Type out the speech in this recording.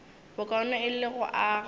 bokaone e le go aga